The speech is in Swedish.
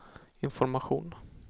information